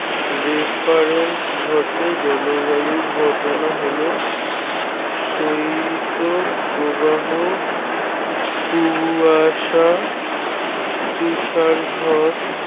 refference ঘটে। জলবায়ুর ঘটনা হল শৈতপ্রবাহ কুয়াশা তুষার ঝড়